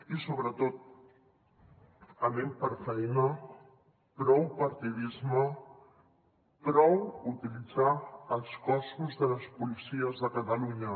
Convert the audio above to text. i sobretot anem per feina prou partidisme prou utilitzar els cossos de les policies de catalunya